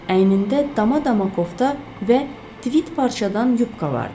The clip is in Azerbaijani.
Əynində dama-dama kofta və tvit parçadan yupka vardı.